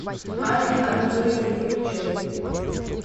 анне анатольевне фомичевой